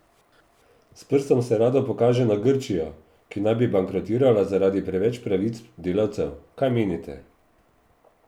S prstom se rado pokaže na Grčijo, ki naj bi bankrotirala zaradi preveč pravic delavcev, kaj menite?